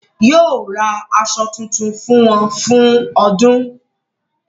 Yóò ra aṣọ tuntun fún wọn fún ọdún.